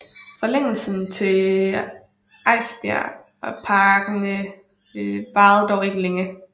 Forlængelsen til Esbjergparken varede dog ikke længe